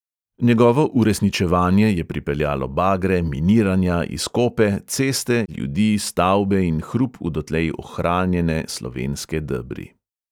Njegovo uresničevanje je pripeljalo bagre, miniranja, izkope, ceste, ljudi, stavbe in hrup v dotlej ohranjene slovenske debri.